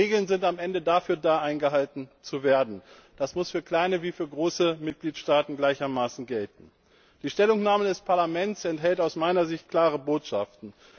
Regeln sind am Ende dafür da, eingehalten zu werden. Das muss für kleine wie für große Mitgliedstaaten gleichermaßen gelten. Die Stellungnahme des Parlaments enthält aus meiner Sicht klare Botschaften.